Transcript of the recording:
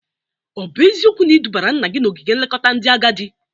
Ọ bụ eziokwu na ị dụbara nna gi n'ogige nlekọta ndị agadị?